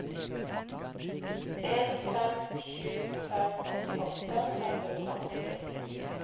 en fem sju fem åttiåtte fem hundre og åtti